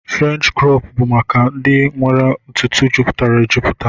French crọp bu maka ndi nwere ntutu juputara ejuputa.